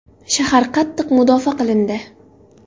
Shahar qattiq mudofaa qilindi.